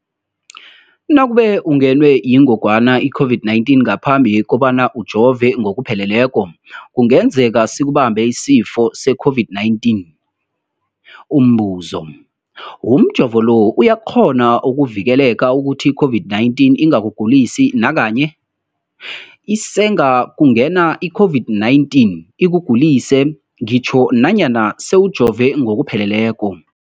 Nakube ungenwe yingogwana i-COVID-19 ngaphambi kobana ujove ngokupheleleko, kungenzeka sikubambe isifo se-COVID-19. Umbuzo, umjovo lo uyakghona ukukuvikela ukuthi i-COVID-19 ingakugulisi nakanye? Isengakungena i-COVID-19 ikugulise ngitjho nanyana sewujove ngokupheleleko.